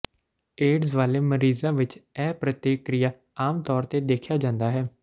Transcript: AIDS ਵਾਲੇ ਮਰੀਜ਼ਾਂ ਵਿੱਚ ਇਹ ਪ੍ਰਤੀਕ੍ਰਿਆ ਆਮ ਤੌਰ ਤੇ ਦੇਖਿਆ ਜਾਂਦਾ ਹੈ